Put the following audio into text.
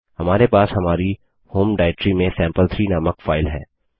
हमारे पास हमारी होम डाइरेक्टरी में सैंपल3 नामक फाइल है